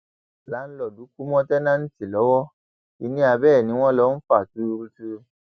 làǹlóòdù kú mọ táǹtẹǹtì lọwọ kínní abẹ ẹ ni wọn lọ fa tuurutu